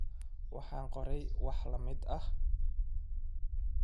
Waxaan qoray wax la mid ah.